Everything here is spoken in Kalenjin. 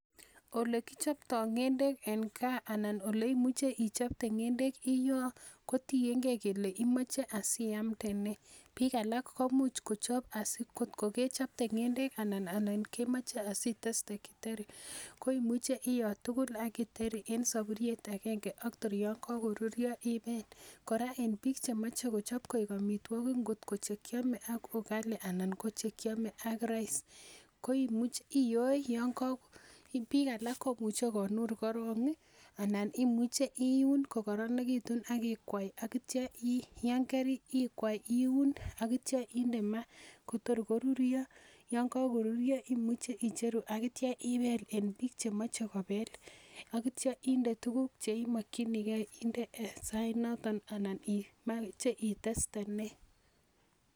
Olekichoptoo ngendek en gaa, alan oleimuche ichopte ngendek iyoo, kotiengei kole imoche asiamdee nee. Bikab alak komuch kochob asi kotomechopte ngendek, anan kemoche kemoche asiteste githeri. Koimuche, iyotugul ak githeri en sopuriet agenge. Ak tor yon kokoruryoo ibel. Ak en biik chemoche kochop koik amitwogik, not ko chekiome ak ugali, anan kochekiome ak rice. Koimuche iyoe. anan imuche inur korong, anan imuche in kokoronekitu ak kikwai ak ityoo, yon karikwai iun ak ityo inde maa, Kotor koruryoo. Yon kokoruryoo imuche icheru ak ityo ibeel. En bike chemoche kobel, ak ityo inde tuguuk cheimokyinigei inde en sainotok anan imoche itestee nee .